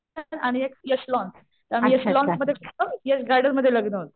आणि एक यश लॉन्स. आम्ही यशलोन्समध्ये गेलतो यश गार्डन मध्ये लग्न होतं.